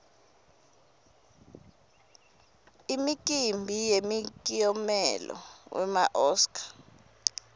imikimbi yemikiomelo wema oscar